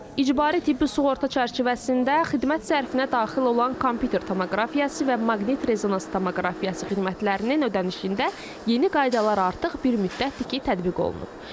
İcbari tibbi sığorta çərçivəsində xidmət zərfinə daxil olan kompüter tomoqrafiyası və maqnit-rezonans tomoqrafiyası xidmətlərinin ödənişində yeni qaydalar artıq bir müddətdir ki, tətbiq olunub.